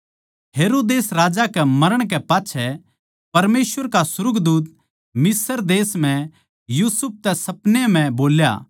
हेरोदेस राजा कै मरण कै पाच्छै परमेसवर का सुर्गदूत मिस्र देश म्ह यूसुफ तै सपनै म्ह बोल्या